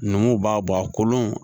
Numuw b'a bɔ a kolon